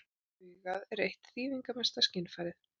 Augað er eitt þýðingarmesta skynfærið.